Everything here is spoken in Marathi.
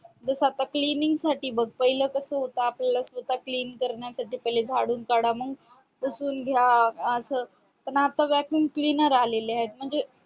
जस आता cleaning साठी बग पहिले कस होत आपल्याला स्वतां cleen करण्यासाठी पहिले झाडून काढा मग पुसून घ्या अस vacuum cleaner आलेले आहेत म्हणजे